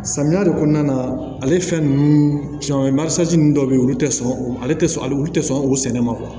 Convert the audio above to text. Samiya de kɔnɔna na ale fɛn ninnu cɛn ninnu dɔw bɛ yen olu tɛ sɔn ale tɛ sɔn ale tɛ sɔn o sɛnɛ ma